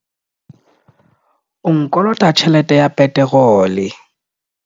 O nkolota tjhelete ya peterole.